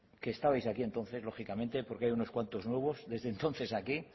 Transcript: que estabais aquí entonces lógicamente porque hay unos cuantos nuevos desde entonces aquí